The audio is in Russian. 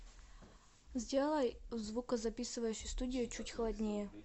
сделай в звукозаписывающей студии чуть холоднее